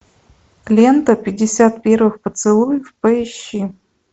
лента пятьдесят первых поцелуев поищи